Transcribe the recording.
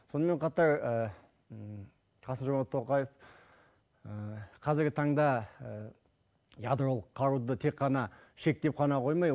сонымен қатар қасым жомарт тоқаев қазіргі таңда ядролық қаруды тек қана шектеп қана қоймай